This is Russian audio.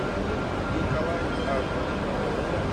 николай абросимов